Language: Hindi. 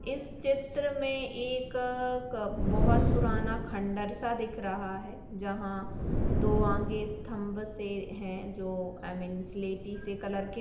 इस चित्र में एक बहुत पुराना सा खंडर सा दिख रहा है जहां दो आगे स्तंभ से है जो आई मीन स्लेटी से कलर के--